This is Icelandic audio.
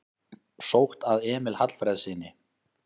Sótt að Emil Hallfreðssyni